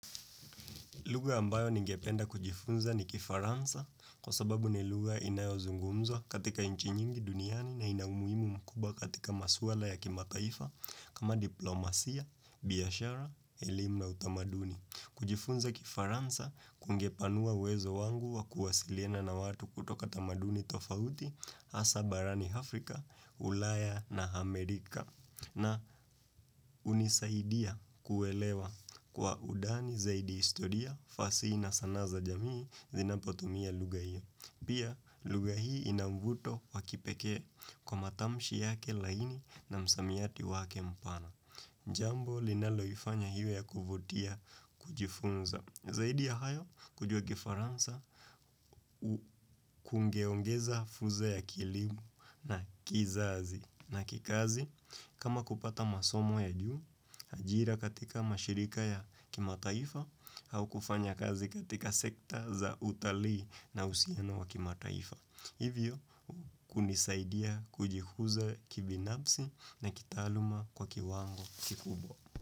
Lugha ambayo ningependa kujifunza ni kifaransa kwa sababu ni lugha inayozungumzo katika nchi nyingi duniani na inaumuimu mkubwa katika maswala ya kimataifa kama diplomasia, biashara, elimu na utamaduni. Kujifunza kifaransa kungepanua uwezo wangu wa kuwasiliena na watu kutoka tamaduni tofauti hasa barani Afrika, ulaya na Amerika. Na hunisaidia kuelewa kwa undani zaidi historia fasihi isanaa za jamii zinapotomia lugha hiyo. Pia lugha hiyo inamvuto wakipekee kwa matamshi yake laini na msamiati wake mpana. Njambo linaloifanya hiyo ya kuvutia kujifunza. Zaidi ya hayo kujua kifaransa kungeongeza fursa ya kielimu na kizazi na kikazi. Kama kupata masomo ya juu, ajira katika mashirika ya kimataifa au kufanya kazi katika sekta za utalii na usiano wa kimataifa. Hivyo, kunisaidia kujihuza kibinafsi na kitaaluma kwa kiwango kikubwa.